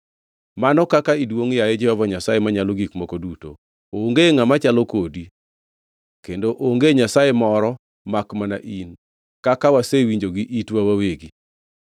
“Mano kaka iduongʼ yaye Jehova Nyasaye Manyalo Gik Moko Duto! Onge ngʼama chalo kodi, kendo onge Nyasaye moro makmana in, kaka wasewinjo gi itwa wawegi?